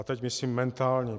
A teď myslím mentální.